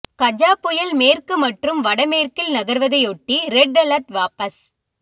கஜா புயல் மேற்கு மற்றும் வடமேற்கில் நகர்வதையொட்டி ரெட் அலர்ட் வாபஸ்